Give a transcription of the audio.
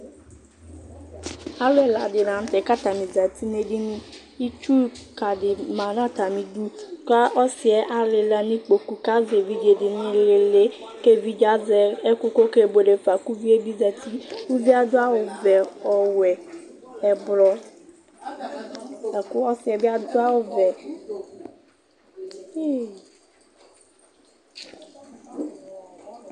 alo ɛla di lantɛ k'atani zati n'edini itsu keka ma n'atami du k'ɔsiɛ alela n'ikpoku k'azɛ evidze di n'ilili k'evidze azɛ ɛkò kò okebuele fa kò uvie bi zati uvie ado awu vɛ ɔwɛ ɛblɔ lako ɔsiɛ bi ado awu vɛ